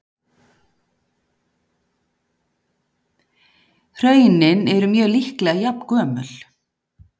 Hraunin eru mjög líklega jafngömul.